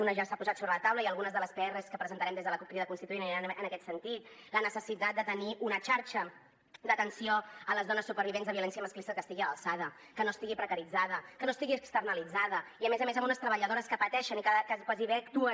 una ja s’ha posat sobre la taula i algunes de les prs que presentarem des de la cup crida constituent aniran en aquest sentit la necessitat de tenir una xarxa d’atenció a les dones supervivents de violència masclista que estigui a l’alçada que no estigui precaritzada que no estigui externalitzada i a més a més amb unes treballadores que pateixen i gairebé actuen